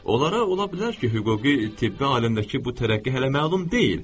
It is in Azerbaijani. Onlara ola bilər ki, hüquqi, tibbi aləmdəki bu tərəqqi hələ məlum deyil.